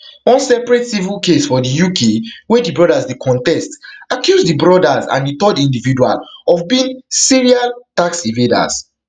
one separate civil case for di uk wey di brothers dey contest accuse di brothers and a third individual of beingserial tax evaders